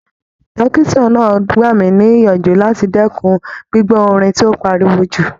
Dọ́kítà náà gbà mí níyànjú láti dẹ́kun gbígbọ́ orin tó pariwo jù.